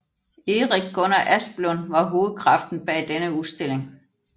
Erik Gunnar Asplund var hovedkraften bag denne udstilling